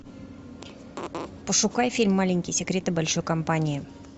пошукай фильм маленькие секреты большой компании